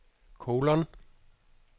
kolon